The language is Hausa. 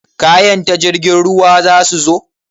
Kayan ta jirgin ruwa zasu zo?